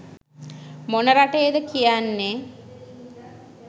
මොන රටේද කියන්නේ